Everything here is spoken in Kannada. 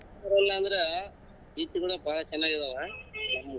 ಇಲ್ಲಾಂದ್ರೆ ಈ ತಿಂಗಳ ಬಾಳ ಚೆನ್ನಗಿದವ.